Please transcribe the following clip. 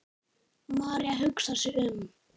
María hugsar sig um.